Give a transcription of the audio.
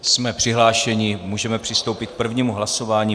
Jsme přihlášeni, můžeme přistoupit k prvnímu hlasování.